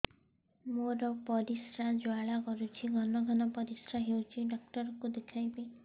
ମୋର ପରିଶ୍ରା ଜ୍ୱାଳା କରୁଛି ଘନ ଘନ ପରିଶ୍ରା ହେଉଛି ଡକ୍ଟର କୁ ଦେଖାଇବି